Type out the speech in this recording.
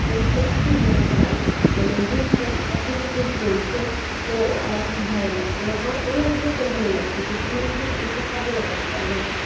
খরচে একই জায়গায় মানে দুইটা ব্যবসা একই সাথে ওর চলছে তো আমার খুব ভালো লাগছে মানে আমার এই idea টা ভালো লাগছে তো তুমি কিন্তু এইটা কাজে লাগাতে পারো মানে